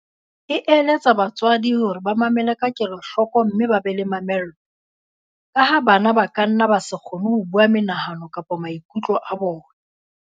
e eletsa batswadi hore ba mamele ka kelohloko mme ba be le mamello, ka ha bana ba kanna ba se kgone ho bua ka menahano kapa maiku tlo a bona.